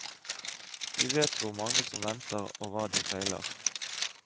Vi vet hvor mange som venter, og hva de feiler.